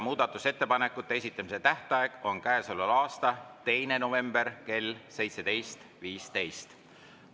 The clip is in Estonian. Muudatusettepanekute esitamise tähtaeg on käesoleva aasta 2. november kell 17.15.